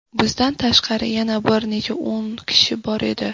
Bizdan tashqari yana bir necha o‘n kishi bor edi.